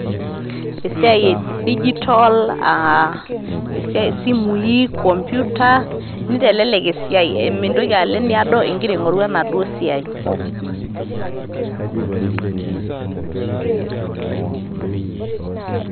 Esiai edijitol aa esiai esimuii computer nintelelek esiai mintoki alo eneedo egira aing'oru ena duo siai.